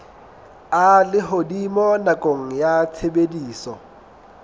a lehodimo nakong ya tshebediso